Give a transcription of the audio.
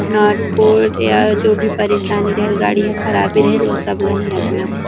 नट bolt या जो भी परेशानी रहेल ओ गाड़ी हा ओ सब ला ईहा बनाथे ।